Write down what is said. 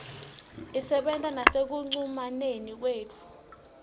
isebenta nasekucumaneni kwethu